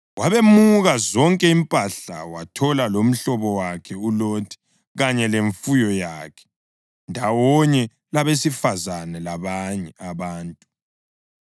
Wabemuka zonke impahla wathola lomhlobo wakhe uLothi kanye lemfuyo yakhe, ndawonye labesifazane labanye abantu.